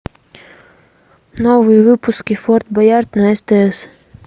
новые выпуски форт боярд на стс